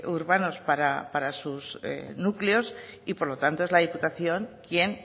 urbanos para sus núcleos y por lo tanto es la diputación quien